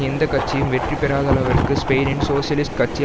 எந்த கட்சியும் பெற்றிராதளவிற்கு ஸ்பெயினின் சோசியலிஸ்ட் கட்சி